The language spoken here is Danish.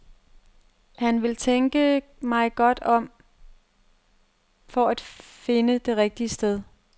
Han vil tænke mig godt om for at finde det rigtige sted.